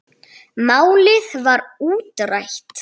Málið var útrætt.